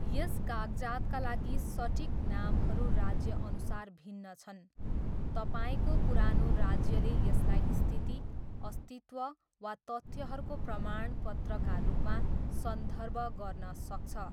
यस कागजातका लागि सटिक नामहरू राज्यअनुसार भिन्न छन्, तपाईँको पुरानो राज्यले यसलाई स्थिति, अस्तित्व, वा तथ्यहरूको प्रमाणपत्रका रूपमा सन्दर्भ गर्न सक्छ।